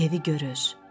Evi görür.